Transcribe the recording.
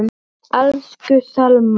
Elsku Selma.